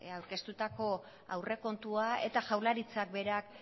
aurkeztutako aurrekontua eta jaurlaritzak berak